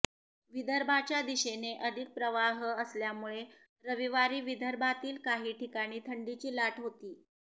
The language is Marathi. विदर्भाच्या दिशेने अधिक प्रवाह असल्यामुळे रविवारी विदर्भातील काही ठिकाणी थंडीची लाट होती